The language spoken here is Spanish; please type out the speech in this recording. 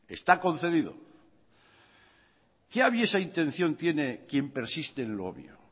está concedido qué aviesa intención tiene quien persiste en lo obvio